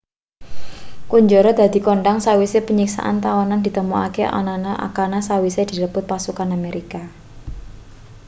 kunjara dadi kondhang sawise panyiksan tawanan ditemokake anana akana sawise direbut pasukan amerika